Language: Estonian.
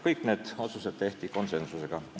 Kõik need otsused tehti konsensusega.